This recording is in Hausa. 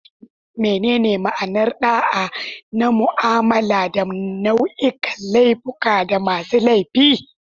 Menene ma'anar da'a na mu'amala da nau'ikan laifuffuka da masu laifi?